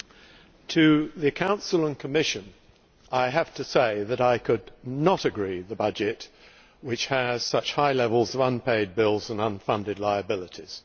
Madam President, to the Council and Commission, I have to say that I could not agree the budget, which has such high levels of unpaid bills and unfunded liabilities